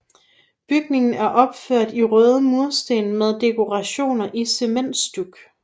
Bygningen er opført i røde mursten med dekorationer i cementstuk